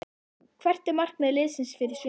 Hvert er markmið liðsins fyrir sumarið?